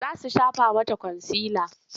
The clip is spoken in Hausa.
Za su shafa mata kwansila.